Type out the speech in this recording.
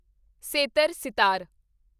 ਸੇਤਰ sitar